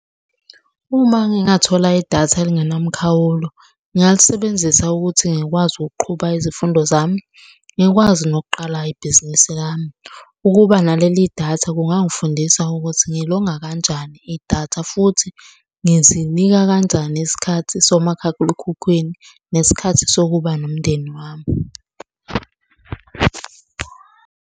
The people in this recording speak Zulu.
Uma ngingathola idatha elingenamkhawulo, ngingalisebenzisa ukuthi ngikwazi ukuqhuba izifundo zami, ngikwazi nokuqala ibhizinisi lami. Ukuba naleli datha kungangifundisa ukuthi ngilonga kanjani idatha futhi ngizinika kanjani isikhathi , nesikhathi sokuba nomndeni wami.